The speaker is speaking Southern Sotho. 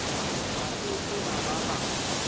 ba ke ke ba ba